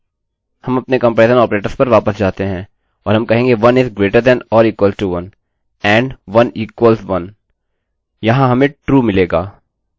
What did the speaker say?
हम अपने comparison operators पर वापस जाते हैं और हम कहेंगे 1 is greater than or equal to 1 and 1 equal 1 if 1 1 से बड़ा या बराबर है and1 1 के बराबर है यहाँ हमें true मिलेगा